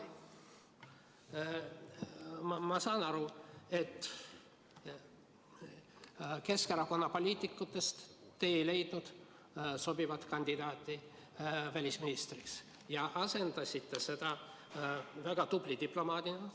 Ma saan aru, et Keskerakonna poliitikute hulgast ei leidnud te sobivat kandidaati välisministriks ja asendasite nad väga tubli diplomaadiga.